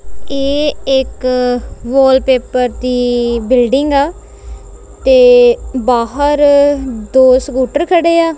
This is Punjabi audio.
ਇਹ ਇੱਕ ਵਾਲ ਪੇਪਰ ਦੀ ਬਿਲਡਿੰਗ ਆ ਤੇ ਬਾਹਰ ਦੋ ਸਕੂਟਰ ਖੜੇ ਆ।